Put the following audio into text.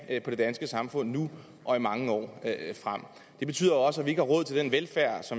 på det danske samfund nu og i mange år frem det betyder også at vi ikke har råd til den velfærd